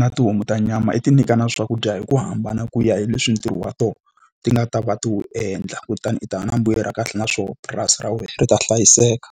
na tihomu ta nyama i ti nyika na swakudya hi ku hambana ku ya hi leswi ntirho wa tona ti nga ta va ti wu endla, kutani u ta va na mbuyelo wa kahle na swona purasi ra wena ri ta hlayiseka.